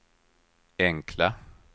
enkla